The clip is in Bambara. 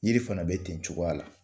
Jiri fana bɛ ten cogoya la